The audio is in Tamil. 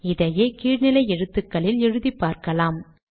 இதையே கீழ் நிலை எழுத்துக்களில் எழுதி பார்க்கலாம்